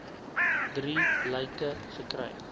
drie lyke gekry